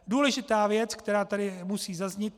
Důležitá věc, která tady musí zaznít.